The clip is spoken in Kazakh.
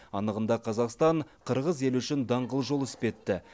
анығында қазақстан қырғыз елі үшін даңғыл жол іспетті